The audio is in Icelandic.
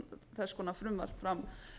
þess konar frumvarp fram